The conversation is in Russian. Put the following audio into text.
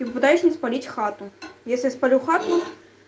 и пытаюсь не спалить хату если я сполю хату